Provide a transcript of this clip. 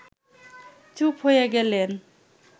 চুপ হয়ে গেলেন